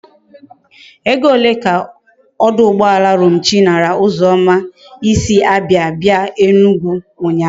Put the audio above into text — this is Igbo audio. Ego ole ka oduugboala Romchi nara uzoma i si Abia bia Enugwu unya?